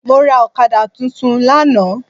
Mọ́ra Ọ̀kadà tuntun lánàá